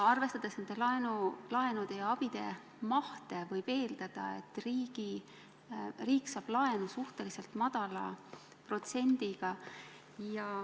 Arvestades nende laenude ja selle abi mahtu, võib eeldada, riik saab laenu suhteliselt madala protsendiga.